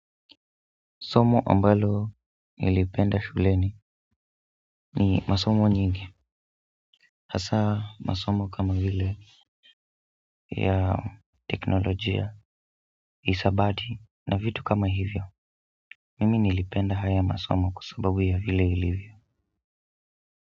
Somo ambalo nilipenda shuleni ni masomo nyingi hasa masomo kama vile ya teknolojia isabati na vitu kama hivyo mimi nilipenda haya masomo kwa sababu ya vile ilivyo.